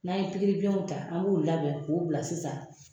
N'an ye pikiribiɲɛnw ta , an b'u labɛn k'u bila sisan.